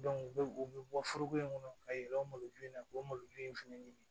u bɛ u bɛ bɔ foroko in kɔnɔ ka yɛlɛ o malojuni na k'o maloju in fana ɲini